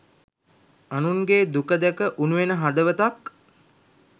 අනුන්ගේ දුක දැක උණුවෙන හදවතක්